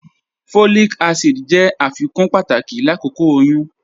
Folic acid jẹ afikun pátàkì lákókò oyún.